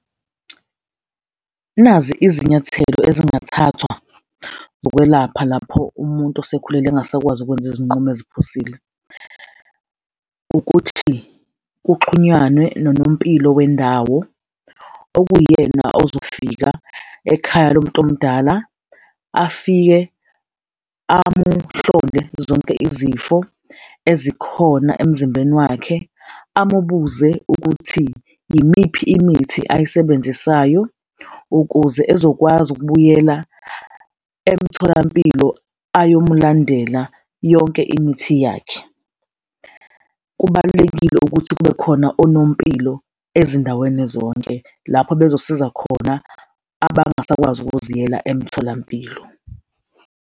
Nazi izinyathelo ezingathathwa ngokwelapha lapho umuntu osekhulile engasakwazi ukwenza izinqumo eziphusile, ukuthi kuxhunywane nonompilo wendawo, okuwuyena ozofika ekhaya lomuntu omdala, afike amuhlole zonke izifo ezikhona emzimbeni wakhe, amubuze ukuthi yimiphi imithi ayisebenzisayo ukuze ezokwazi ukubuyela emtholampilo ayomulandela yonke imithi yakhe. Kubalulekile ukuthi kube khona onompilo ezindaweni zonke lapho bezosiza khona abangasakwazi ukuziyela emtholampilo.